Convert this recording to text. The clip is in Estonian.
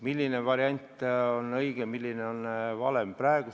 Milline variant on õige ja milline on vale?